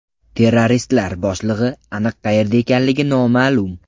Terroristlar boshlig‘i aniq qayerda ekanligi noma’lum.